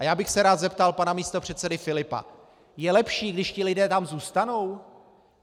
A já bych se rád zeptal pana místopředsedy Filipa: Je lepší, když ti lidé tam zůstanou?